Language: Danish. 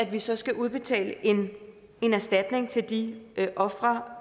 vi så skal udbetale en erstatning til de ofre